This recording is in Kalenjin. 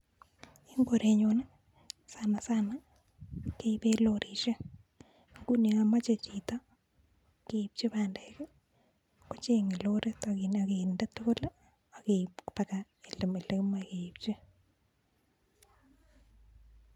Eng korenyun sana sana keipe lorishek, nguni yon mochei chito keipchi bandek kochenge lorit akinde tugul akeip koba olemae keipchi.